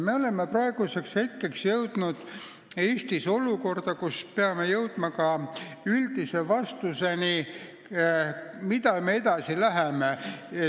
Me oleme praeguseks jõudnud Eestis olukorda, kus me peame andma üldise vastuse, kuidas me edasi läheme.